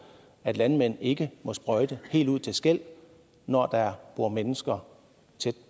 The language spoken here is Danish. at landmænd ikke må sprøjte helt ud til skellet når der bor mennesker tæt